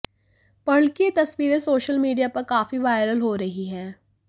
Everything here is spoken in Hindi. पर्ल की ये तस्वीरें सोशल मीडिया पर काफी वायरल हो रही हैं